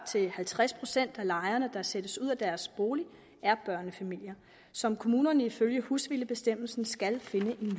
til halvtreds procent af de lejere der sættes ud af deres bolig er børnefamilier som kommunerne ifølge husvildebestemmelsen skal finde